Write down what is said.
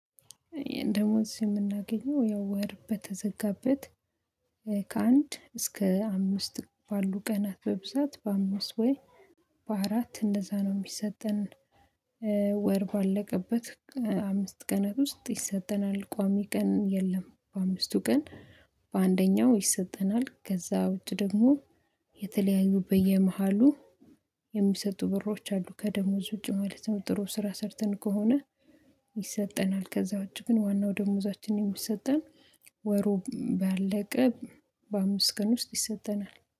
ደሞዝ የምናገኘው ያው ወር በተዘጋበት ከአንድ እስከ አምስት ባሉ ቀናት በብዛት በአምስት ወይ በአራት እንደዛ ነው የሚሰጠን ወር ባለቀበት አምስት ቀናት ውስጥ ይሰጠናል። ቋሚ ቀን የለም በአምስቱ ቀን በአንደኛው ይሰጠናል ከዛ ውጪ ደግሞ የተለያዩ በየመሃሉ የሚሰጡ ብሮች አሉ ከደሞዝ ውጪ ማለት ነው ጥሩ ስራ ሰርተን ከሆነ ይሰጠናል ከዛ ዉጭ ግን ዋናው ደሞዛችን የሚሰጠን ወሩ ባለቀ በአምስት ቀን ውስጥ ይሰጠናል።